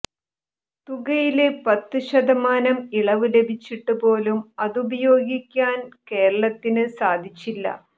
തുകയില് പത്തുശതമാനം ഇളവ് ലഭിച്ചിട്ട് പോലും അതുപയോഗിക്കാന് കേരളത്തിന് സാധിച്ചില്ല